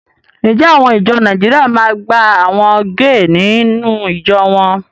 Ǹjẹ́ àwọn ìjọ Nàìjíríà ma máa gba àwọn géè nínú ìjọ wọn?